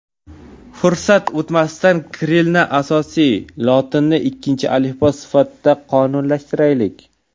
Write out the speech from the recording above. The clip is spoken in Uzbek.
Fursat o‘tmasidan kirillni asosiy, lotinni ikkinchi alifbo sifatida qonunlashtiraylik.